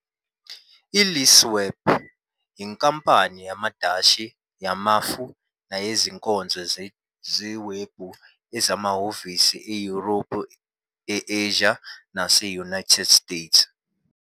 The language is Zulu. ILeaseweb yinkampani yamaDashi yamafu neyezinkonzo zewebhu ezinamahhovisi eYurophu, e-Asia nase-United States.